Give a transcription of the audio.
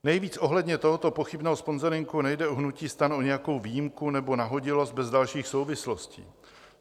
Navíc ohledně tohoto pochybného sponzoringu nejde u hnutí STAN o nějakou výjimku nebo nahodilost bez dalších souvislostí.